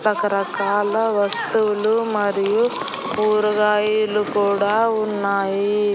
రకరకాల వస్తువులు మరియు కూరగాయలు కూడా ఉన్నాయి.